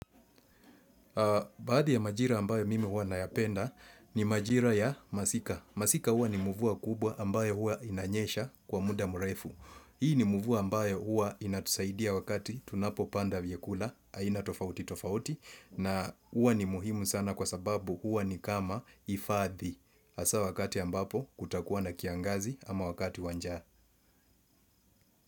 Baadhi ya majira ambayo mimi huwa nayapenda ni majira ya masika. Masika huwa ni muvua kubwa ambayo huwa inanyesha kwa muda mrefu. Hii ni mvua ambayo huwa inatusaidia wakati tunapo panda vyakula haina tofauti tofauti na huwa ni muhimu sana kwa sababu huwa ni kama ifadhi hasa wakati ambapo kutakuwa na kiangazi ama wakati wa njaa.